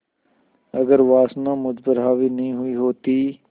अगर वासना मुझ पर हावी नहीं हुई होती